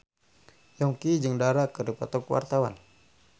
Yongki jeung Dara keur dipoto ku wartawan